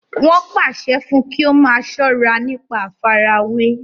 wọn pàṣẹ fún un kí ó máa sọ́ra nípa àfarawé